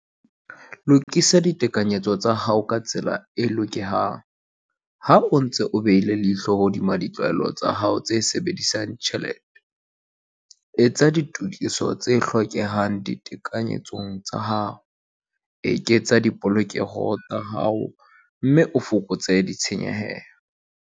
Lokisa ditekanyetso tsa hao ka tsela e hlokehang - Ha o ntse o behile leihlo hodima ditlwaelo tsa hao tsa ho sebedisa tjhelete, etsa ditokiso tse hlokehang ditekanyetsong tsa hao, eketsa dipolokeho tsa hao mme o fokotse ditshenyehelo.